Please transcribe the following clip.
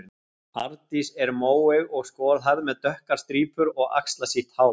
Arndís er móeyg og skolhærð með dökkar strípur og axlasítt hár.